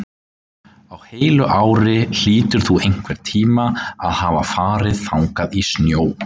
Á heilu ári hlýtur þú einhvern tíma að hafa farið þangað í snjó.